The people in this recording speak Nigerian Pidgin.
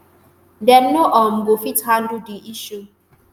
dem no um go fit handle di issue